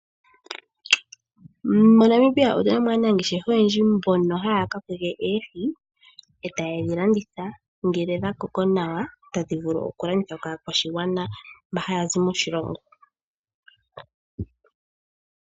MoNamibia otu na aanangeshefa oyendji mbono haya kokeke oohi e taye dhi landitha ngele odha koko nawa tadhi vulu okulandithwa kaakwashigwana mba haya zi moshilongo.